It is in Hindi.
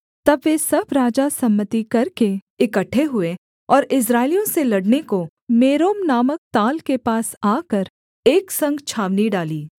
तब वे सब राजा सम्मति करके इकट्ठे हुए और इस्राएलियों से लड़ने को मेरोम नामक ताल के पास आकर एक संग छावनी डाली